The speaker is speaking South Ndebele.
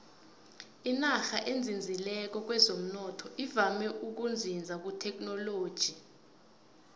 inarha ezinzileko kwezomnotho ivame ukuzinza kuthekhinoloji